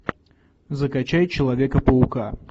закачай человека паука